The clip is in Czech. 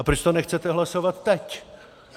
A proč to nechcete hlasovat teď?